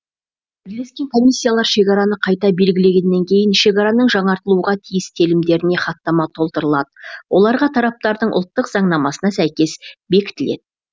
бірлескен комиссиялар шекараны қайта белгілегеннен кейін шекараның жаңартылуға тиіс телімдеріне хаттама толтырылады оларға тараптардың ұлттық заңнамасына сәйкес бекітіледі